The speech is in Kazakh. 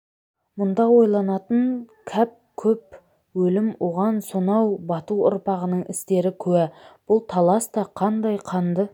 мұнда ойланатын кәп көп өлім оған сонау бату ұрпағының істері куә бұл талас та қандай қанды